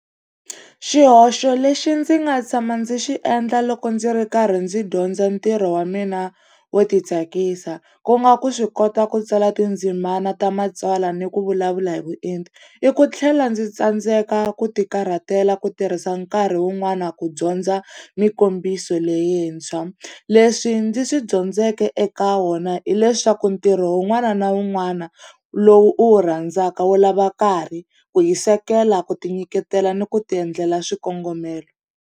Xihoxo lexi ndzi nga tshama ndzi xi endla loko ndzi ri karhi ndzi dyondza ntirho wa mina wo ti tsakisa, ku nga ku swi kota ku tsala tindzimana ta matsalwa ni ku vulavula hi vuenti, i ku tlhela ndzi tsandzeka ku ti karhatela ku tirhisa nkarhi wun'wana ku dyondza mikombiso leyintshwa. Leswi ndzi swi dyondzeke eka wona hileswaku ntirho wun'wana na wun'wana lowu u wu rhandzaka wu lava nkarhi, ku hisekela, ku tinyiketela ni ku tiendlela swikongomelo.